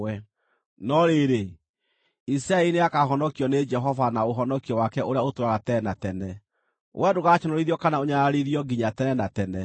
No rĩrĩ, Isiraeli nĩakahonokio nĩ Jehova na ũhonokio wake ũrĩa ũtũũraga tene na tene; wee ndũgaconorithio kana ũnyararithio nginya tene na tene.